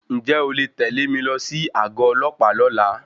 Ǹjẹ́ o lè tẹ mi lọ sí àgọ ọlọ́pàá lọ́la?